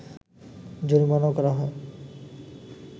জরিমানাও করা হয়